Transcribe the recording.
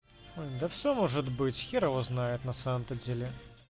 да все может быть хер его знает на самом-то деле